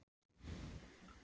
Hafið þið séð tæklinguna?